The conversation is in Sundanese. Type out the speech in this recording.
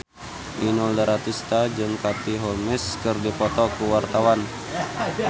Inul Daratista jeung Katie Holmes keur dipoto ku wartawan